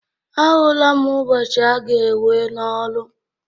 Ahụla m ụbọchị aga-ewe n'ọrụ